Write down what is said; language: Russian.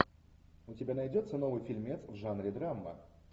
у тебя найдется новый фильмец в жанре драма